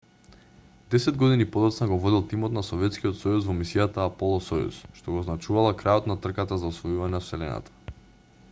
десет години подоцна го водел тимот на советскиот сојуз во мисијата аполо-сојуз што го означувала крајот на трката за освојување на вселената